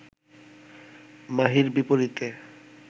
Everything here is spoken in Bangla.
মাহীর বিপরীতে